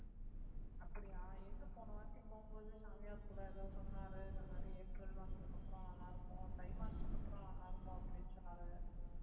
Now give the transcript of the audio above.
அப்படியா எங்க போனவாட்டி போகும்போது சாமியார் கூட ஏதோ சொன்னாரு இந்த மாதிரி ஏப்ரல் மாசத்துக்கு அப்புறம் நல்லா இருக்கும் தை மாசத்துக்கு அப்புறம் நல்லா இருக்கும் அப்படின்னு சொன்னாரு